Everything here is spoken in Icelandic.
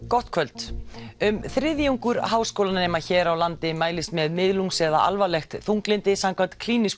gott kvöld um þriðjungur háskólanema hér á landi mælist með miðlungs eða alvarlegt þunglyndi samkvæmt klínískum